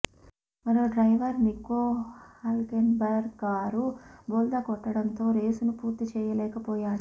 మరో driver Nico Hulkenberg car బోల్తా కొట్టడంతో రేసును పూర్తిచేయలేకపోయాడు